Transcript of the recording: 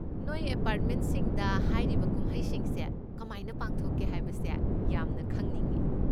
ꯅꯣꯏ ꯑꯦꯄꯥꯔꯠꯃꯦꯅꯁꯤꯡꯗ ꯍꯥꯏꯔꯤꯕ ꯀꯨꯝꯍꯩꯁꯤꯡꯁꯦ ꯀꯃꯥꯏꯅ ꯄꯥꯡꯊꯣꯛꯀꯦ ꯍꯥꯏꯕꯁꯦ ꯌꯥꯝꯅ ꯈꯪꯅꯤꯡꯉꯦ꯫